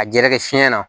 A jɛɛrɛ fiɲɛ na